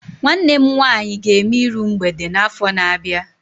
Nwanne m nwaanyị ga-eme iru mgbede n'afọ na-abịa abịa.